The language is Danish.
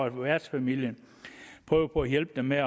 at værtsfamilier prøver på at hjælpe dem med